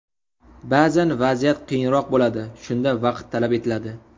Ba’zan vaziyat qiyinroq bo‘ladi, shunda vaqt talab etiladi.